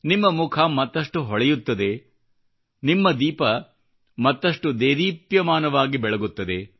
ನಿಮ್ಮ ಮುಖ ಮತ್ತಷ್ಟು ಹೊಳೆಯುತ್ತದೆ ನಿಮ್ಮ ದೀಪ ಮತ್ತಷ್ಟು ದೇದೀಪ್ಯಮಾನವಾಗಿ ಬೆಳಗುತ್ತದೆ